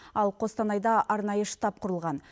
ал қостанайда арнайы штаб құрылған